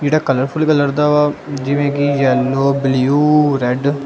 ਇਹਦਾ colourful colour ਦਾ ਵਾ ਜਿਵੇਂ ਕਿ ਯੈਲੋ ਬਲੂ ਰੈਡ ।